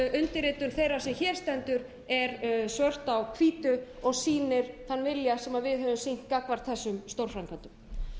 undirritun þeirrar sem hér stendur er svört á hvítu og sýnir þann vilja sem við höfum sýnt gagnvart þessum stórframkvæmdum